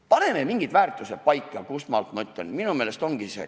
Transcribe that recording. Paneme mingid väärtused paika!